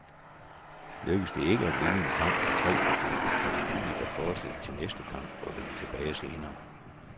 Lykkes det ikke at vinde en kamp på tre forsøg, er det muligt at forsætte til næste kamp og vende tilbage senere.